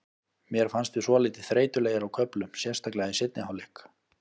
Mér fannst við svolítið þreytulegir á köflum, sérstaklega í seinni hálfleik.